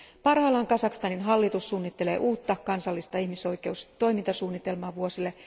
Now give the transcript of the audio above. Parhaillaan Kazakstanin hallitus suunnittelee uutta kansallista ihmisoikeustoimintasuunnitelmaa vuosille